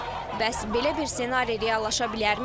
Bəs belə bir senari reallaşa bilərmi?